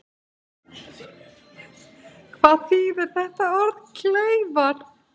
Hvað þýðir þetta orð kleifar?